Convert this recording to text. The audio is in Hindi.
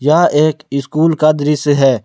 यह एक स्कूल का दृश्य है।